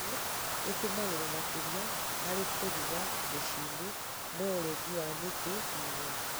Mĩti ĩtũmĩragwo makĩria harĩ kũruga micii-inĩ, no ũrengi wa mĩti nĩ ũgwati